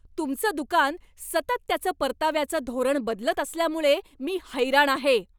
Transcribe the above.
तुमचं दुकान सतत त्याचं परताव्याचं धोरण बदलत असल्यामुळं मी हैराण आहे.